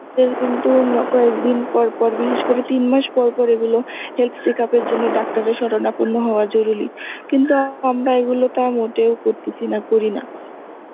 কিন্তু একদিন পর পর বিশেষ করে তিন মাস পর পর এগুলো, health check up এর জন্য ডাক্তার এর সরনা পণ্য হওয়া জরুরি কিন্তু আমরা এগুলো তা মোটেও করতেসি না করি না